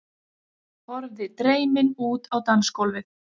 Horfði dreymin út á dansgólfið.